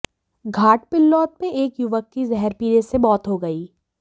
घाटाबिल्लौद में एक युवक की जहर पीने से मौत हो गई